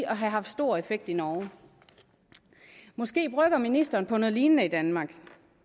at have haft stor effekt i norge måske brygger ministeren på noget lignende i danmark